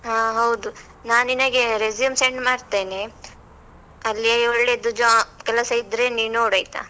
ಹಾ ಹೌದು, ನಾ ನಿನಗೆ resume send ಮಾಡ್ತೇನೆ, ಅಲ್ಲಿಯೇ ಒಳ್ಳೇದು ಜ್ವ ಕೆಲಸ ಇದ್ರೆ ನೀನ್ ನೋಡಯ್ತಾ?